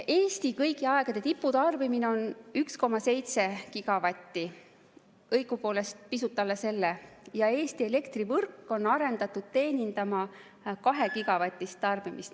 Eesti kõigi aegade tipptarbimine on 1,7 gigavatti, õigupoolest pisut alla selle, ja Eesti elektrivõrk on arendatud teenindama 2-gigavatist tarbimist.